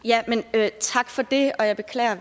at